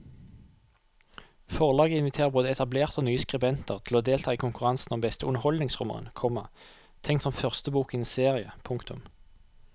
Forlaget inviterer både etablerte og nye skribenter til å delta i konkurransen om beste underholdningsroman, komma tenkt som første bok i en serie. punktum